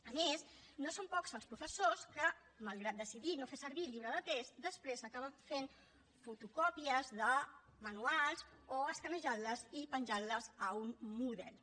a més no són pocs els professors que malgrat decidir no fer servir el llibre de text després acaben fent fotocòpies de manuals o escanejant les i penjant les a un moodle